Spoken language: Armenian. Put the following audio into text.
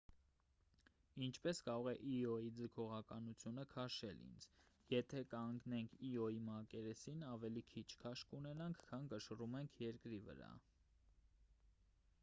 ինչպես կարող է իոյի ձգողականությունը քաշել ինձ եթե կանգնեք իոյի մակերեսին ավելի քիչ քաշ կունենաք քան կշռում եք երկրի վրա